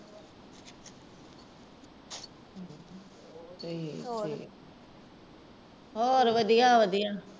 ਹੋਰ ਵਧੀਆ ਵਧੀਆ।